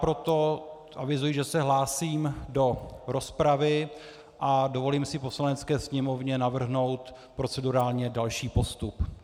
Proto avizuji, že se hlásím do rozpravy a dovolím si Poslanecké sněmovně navrhnout procedurálně další postup.